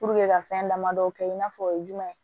ka fɛn damadɔ kɛ i n'a fɔ o ye jumɛn ye